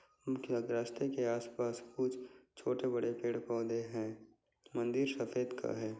उनके अध रस्ते के आस-पास कुछ छोटे बड़े पेड़ पौधे हैं मंदिर सफ़ेद का है।